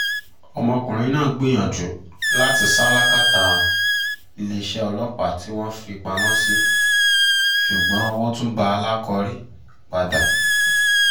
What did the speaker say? ọmọkùnrin náà gbìyànjú láti sá làkàtà iléeṣẹ́ ọlọ́pàá tí tí wọ́n fi í pamọ́ sí ṣùgbọ́n owó tún bá alákọ̀rí padà